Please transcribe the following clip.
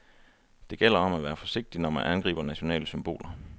Det gælder om at være forsigtig, når man angriber nationale symboler.